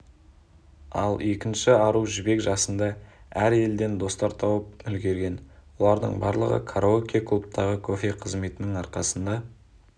ал екінші ару жібек жасында әр елден достар тауып үлгерген олардың барлығы караоке-клубтағы кофе қызметінің арқсында